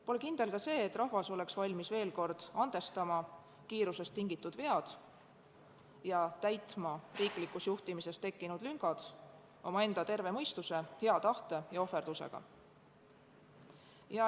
Pole kindel ka see, et rahvas oleks valmis veel kord andestama kiirusest tingitud vead ja täitma riiklikus juhtimises tekkinud lüngad omaenda terve mõistuse, hea tahte ja ohverdusega.